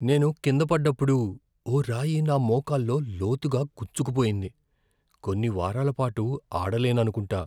నేను కింద పడ్డప్పుడు ఓ రాయి నా మోకాల్లో లోతుగా గుచ్చుకుపోయింది. కొన్ని వారాల పాటు ఆడలేననుకుంటా.